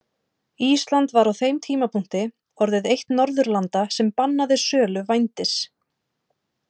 Ísland var á þeim tímapunkti orðið eitt Norðurlanda sem bannaði sölu vændis.